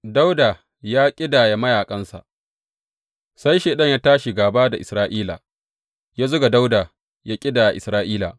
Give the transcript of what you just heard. Dawuda ya ƙidaya mayaƙansa Sai Shaiɗan ya tashi gāba da Isra’ila, ya zuga Dawuda ya ƙidaya Isra’ila.